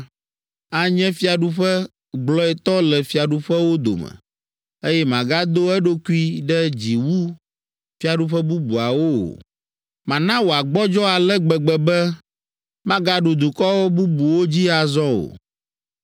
Anye fiaɖuƒe gblɔetɔ le fiaɖuƒewo dome, eye magado eɖokui ɖe dzi wu fiaɖuƒe bubuawo o. Mana wòagbɔdzɔ ale gbegbe be, magaɖu dukɔ bubuwo dzi azɔ o.